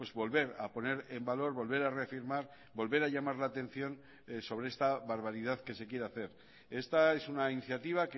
volver a poner en valor volver a reafirmar volver a llamar la atención sobre esta barbaridad que se quiere hacer esta es una iniciativa